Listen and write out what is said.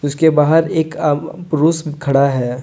के बाहर एक आ पुरुष खड़ा है।